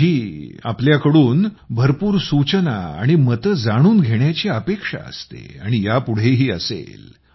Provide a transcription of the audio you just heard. आणि माझी तुमच्या कडून भरपूर सूचना आणि मते जाणून घेण्याची अपेक्षा असते आणि यापुढेही असेल